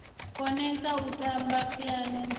konesa u tamba phiano ngoho